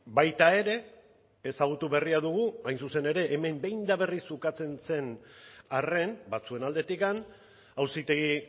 baita ere ezagutu berria dugu hain zuzen ere hemen behin eta berriz ukatzen zen arren batzuen aldetik auzitegi